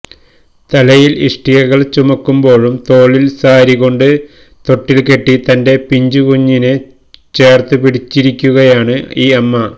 തലയില് ഇഷ്ടികകള് ചുമക്കുമ്പോഴും തോളില് സാരികൊണ്ട് തൊട്ടില് കെട്ടി തന്റെ പിഞ്ചുകുഞ്ഞിനെ ചേര്ത്തുപിടിച്ചിരിക്കുകയാണ് ഈ അമ്മ